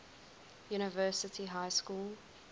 university high school